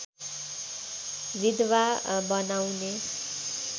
विधवा बनाउने